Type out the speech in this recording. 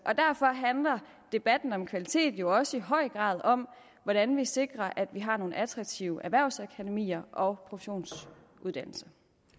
derfor handler debatten om kvalitet jo også i høj grad om hvordan vi sikrer at vi har nogle attraktive erhvervsakademier og professionsuddannelser